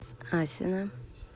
асино